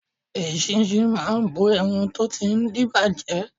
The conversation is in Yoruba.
Eṣinṣin máa bo ẹran tó ti ń díbàjẹ́.